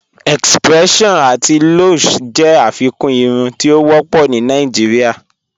X-pression ati Lush jẹ afikún irùn ti o wọpọ̀ ni Nàìjíríà